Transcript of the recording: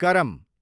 करम